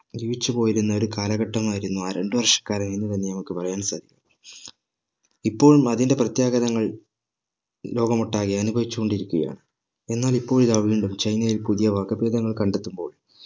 ജീവിച്ചുപോയിരുന്ന ഒരു കാലഘട്ടമായിരുന്നു ആ രണ്ട് വർഷക്കാലം എന്ന് തന്നെ നമ്മക്ക് പറയാൻ സാധിക്കും ഇപ്പോളും അതിന്റെ പ്രത്യാഘാതങ്ങൾ ലോകമൊട്ടാകെ അനുഭവിച്ചു കൊണ്ടിരിക്കുകയാണ് എന്നാൽ ഇപ്പോൾ ഇതാ വീണ്ടും ചൈനയിൽ പുതിയ വകഭേദങ്ങൾ കണ്ടെത്തുമ്പോൾ